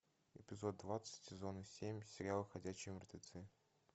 эпизод двадцать сезона семь сериал ходячие мертвецы